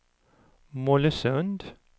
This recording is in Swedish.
Mollösund